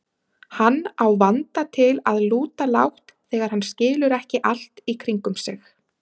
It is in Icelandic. Hann á vanda til að lúta lágt þegar hann skilur ekki allt í kringum sig.